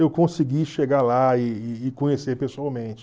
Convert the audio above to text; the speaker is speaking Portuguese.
eu consegui chegar lá e e e conhecer pessoalmente.